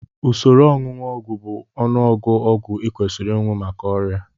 Usoro onunu ogwu bụ ọnụọgụ ọgwụ ị kwesiri aṅụ maka ọrịa